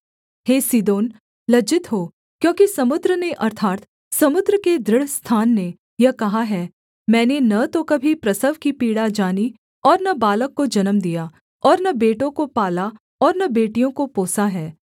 हे Sidon लज्जित हो क्योंकि समुद्र ने अर्थात् समुद्र के दृढ़ स्थान ने यह कहा है मैंने न तो कभी प्रसव की पीड़ा जानी और न बालक को जन्म दिया और न बेटों को पाला और न बेटियों को पोसा है